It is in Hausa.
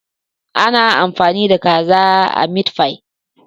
Ana amfani da kaza a mitfai?